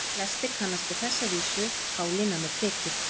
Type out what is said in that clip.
Flestir kannast við þessa vísu: Pálína með prikið